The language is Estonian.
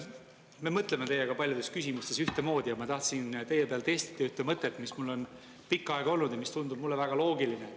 Me mõtleme teiega paljudes küsimustes ühtemoodi ja ma tahtsin teie peal testida ühte mõtet, mis mul on pikka aega olnud ja mis tundub mulle väga loogiline.